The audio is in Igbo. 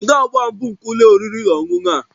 Kedu agba mbụ nke uwe ụlọ oriri na ọṅụṅụ a?